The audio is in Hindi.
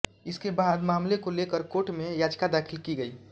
इसके बाद मामले को लेकर कोर्ट में याचिका दाखिल की गई